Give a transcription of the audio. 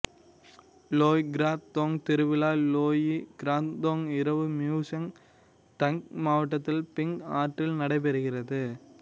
Loy Krathong திருவிழா Loy Krathong இரவு Mueang Tak மாவட்டத்தில் பிங் ஆற்றில் நடைபெறுகிறது